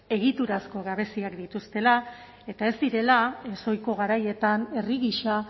egiturazko gabeziak dituztela eta ez direla ezohiko garaietan herri gisa